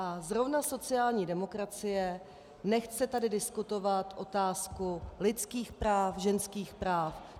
A zrovna sociální demokracie nechce tady diskutovat otázku lidských práv, ženských práv.